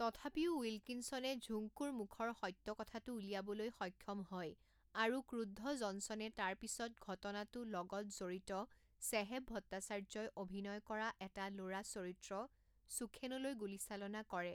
তথাপিও উইলকিনচনে ঝুংকুৰ মুখৰ সত্য কথাটো উলিয়াবলৈ সক্ষম হয় আৰু ক্ৰুদ্ধ জনচনে তাৰ পিছত, ঘটনাটো লগত জড়িত ছেহেব ভট্টাচাৰ্যই অভিনয় কৰা এটা ল'ৰা চৰিত্ৰ সুখেনলৈ গুলীচালনা কৰে।